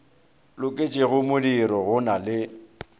loketšego modiro go na le